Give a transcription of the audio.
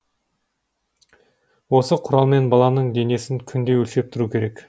осы құралмен баланың денесін күнде өлшеп тұру керек